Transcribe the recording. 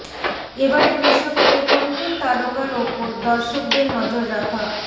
এবারের বিশ্বকাপে কোন কোন তারকার ওপর দর্শকদের নজর রাখা